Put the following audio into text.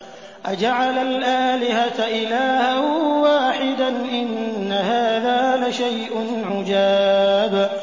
أَجَعَلَ الْآلِهَةَ إِلَٰهًا وَاحِدًا ۖ إِنَّ هَٰذَا لَشَيْءٌ عُجَابٌ